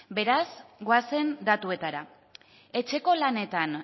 beraz goazen datuetara etxeko lanetan